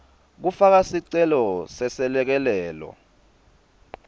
kufaka sicelo seselekelelo